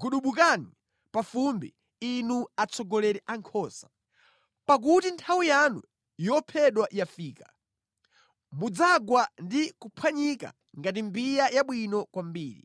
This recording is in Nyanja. gubudukani pa fumbi, inu atsogoleri a nkhosa. Pakuti nthawi yanu yophedwa yafika; mudzagwa ndi kuphwanyika ngati mbiya yabwino kwambiri.